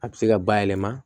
A bɛ se ka bayɛlɛma